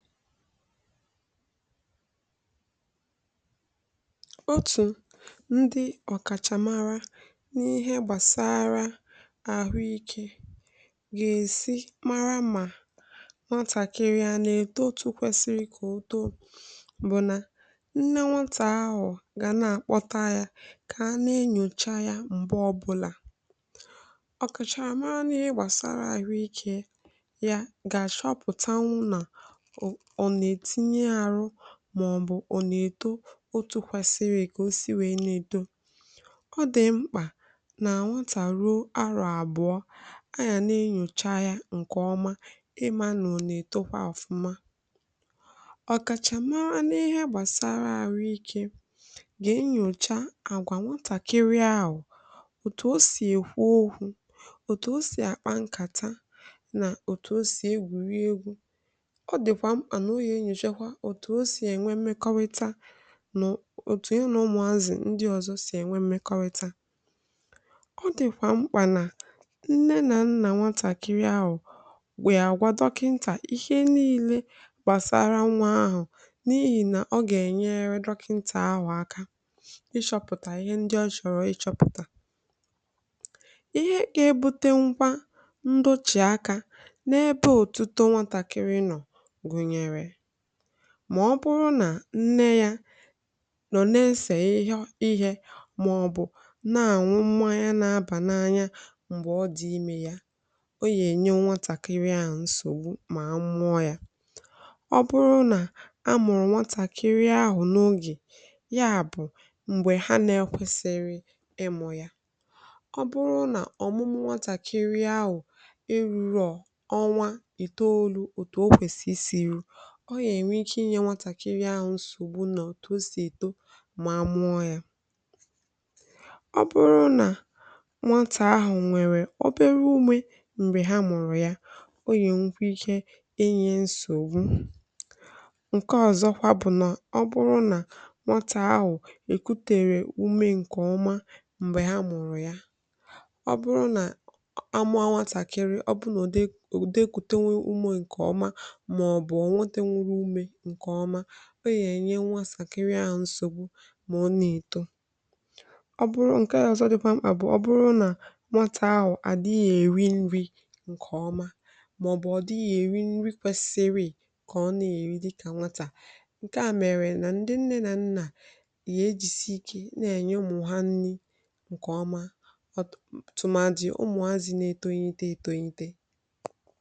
Otu ndị ọkachamara n’ihe gbasara ahụike ga-esi mara ma nọtakịrị ọnị eto otu kwesịrị ka ọtọ bụ na nne nwatà ahụ ga na-akpọta ya ka a na-enyocha ya mgbe ọbụla ọkachamara nọ ihe gbasara ahụike ya ga-achọpụta maọbụ ọ na-eto otu kwụsịrị, eke osi wee na-edo ọ dị mkpà na anwatà ruo arụ, abụọ anyà na-enyocha ya nke ọma. Ịmara na ọ na-eto kwa ọfụma, ọkachamara n’ihe gbasara arụ ike ga-enyocha àgwà nwatakịrị ahụ, otu o si ekwu okwu, otu o si akpa nkàta, na otu o si egwú egwu, otu o si enwe mekọrịta nụ, otu ihe na ụmụazị ndị ọzọ si enwe mekọrịta. Ọ dịkwa mkpà na nne na nna nwatakịrị ahụ wee agwa dọkịta ihe niile gbasara nwa ahụ, n’ihi na ọ ga-enyere dọkịta ahụ aka ịchọpụta ihe ndị ọ chọrọ ịchọpụta, ihe ka ebute nkwa mbochì aka n’ebe òtute nwatakịrị nọ. Ma ọ bụrụ na nne ya nọ neesè ihe ihe maọbụ na-anwụ mmà ya na-abà na anya mgbe ọ dị ime ya, ọ ya enye nwatakịrị ahụ nsògbu ma mmụọ ya. Ọ bụrụ na amụrụ nwatakịrị ahụ n’oge ya bụ mgbe ha na-ekwesịrị ịmụ ya, ọ bụrụ na ọmụmụ nwatakịrị ahụ rụrụ ọnwa itoolu, otu ọ kwesị siri ọ ya enwe ike inye nwatakịrị ahụ nsògbu, na ọ si eto ma amụọ ya. Ọ bụrụ na nwatà ahụ nwere obere ume mgbe ha mụrụ ya, ọ ya nwekwara ike enye nsògbu. Nke ọzọkwa bụ na ọ bụrụ na nwatà ahụ ekutere ume nke ọma mgbe ha mụrụ ya, ọ bụrụ na amụ a nwatakịrị, ọ bụrụ na ùdekwute nwe ume nke ọma nke ọma, ọ ya-enye nwatàkịrị ahụ nsògbu ma ọ na-eto. Ọ bụrụ nke dị ọsọ dịkwa maọbụ ọ dịghị nri kwesị ka ọ na-eri dị ka nwatà nke àmèrè. Na ndị nne na nna ga-ejisi ike na-enye ụmụ ha nri nke ọma, ọtụtụ tụmadị ụmụ ha zi na-etonyite etonyite.